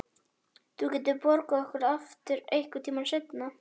Þú getur borgað okkur það aftur einhvern tíma seinna.